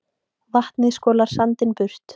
Vatnið skolar sandinum burt